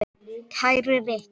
Kæri Rikki.